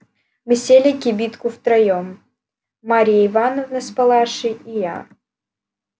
мы сели в кибитку втроём марья ивановна с палашей и я